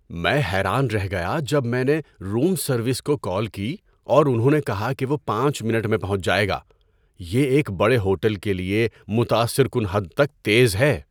میں حیران رہ گیا جب میں نے روم سروس کو کال کی اور انہوں نے کہا کہ وہ پانچ منٹ میں پہنچ جائے گا۔ یہ ایک بڑے ہوٹل کے لیے متاثر کن حد تک تیز ہے!